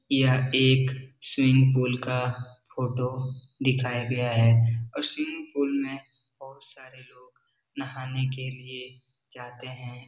यह एक swimming pool का फोटो दिखाया गया है और स्विमिंग पूल में बहुत सारे लोग नहाने के लिए जाते है |